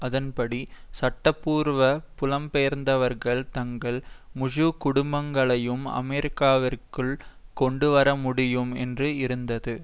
அதன்படி சட்டபூர்வ புலம்பெயர்ந்தவர்கள் தங்கள் முழு குடும்பங்களையும் அமெரிக்காவிற்குள் கொண்டுவரமுடியும் என்று இருந்தது